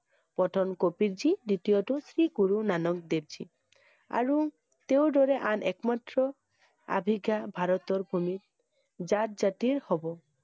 প্ৰথম কবিৰজী দ্বিতীয়টো শ্ৰী গুৰু ননক দেৱজী আৰু তেওঁৰ দৰে আন এক মাত্ৰ অভিজ্ঞ ভাৰতৰ ভূমিত জাত জাতিৰ হ'ব ।